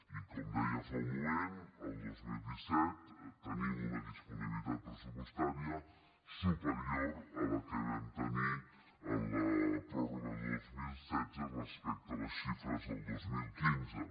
i com deia fa un moment el dos mil disset tenim una disponibilitat pressupostària superior a la que vam tenir en la pròrroga del dos mil setze respecte a les xifres del dos mil quinze